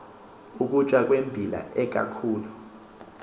ukutya kweembila ikakhulu